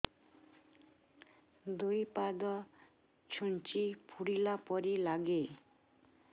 ଦୁଇ ପାଦ ଛୁଞ୍ଚି ଫୁଡିଲା ପରି ଲାଗେ